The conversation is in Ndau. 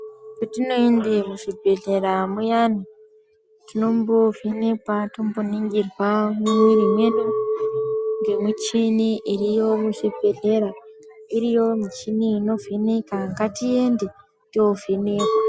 Petinoende muzvibhehlera muyani tinombovhenekwa tomboningirwa mumwiri mwedu ngemuchini iriyo muzvibhehlera. Iriyo michini unovheneka. Ngatiende tovhenekwa.